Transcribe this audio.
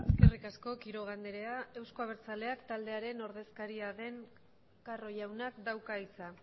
eskerrik asko quiroga andrea euzko abertzaleak taldearen ordezkaria den carro jaunak dauka hitza